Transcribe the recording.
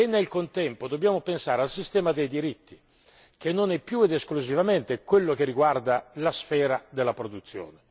Nel contempo dobbiamo pensare anche al sistema dei diritti che non è più ed esclusivamente quello che riguarda la sfera della produzione.